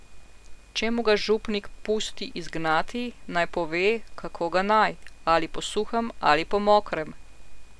Če mu ga župnik pusti izgnati, naj pove, kako ga naj, ali po suhem ali po mokrem.